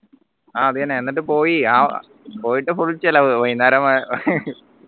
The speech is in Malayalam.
ആഹ് അതെന്നെ എന്നിട്ട് പോയി അഹ് പോയിട്ട് full ചെലവ് വൈന്നേരം വ